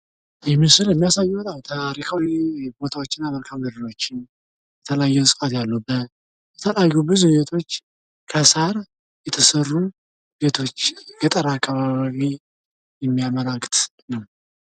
ይህ ምስል የሚያሳየው ታሪካዊ ቦታዎች እና መልካምድሮች የተለያዩ ስፋት ያሉ የተለያዩ ብዙ ቤቶች፤ ከሳር የተሰሩ በቶች ገጠራማ አካባቢ የሚያመላክት ነው።